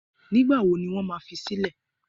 Nígbà wo ni wọ́n ma fi sílẹ̀?